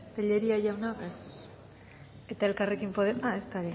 ez eta elkarrekin podemos ezta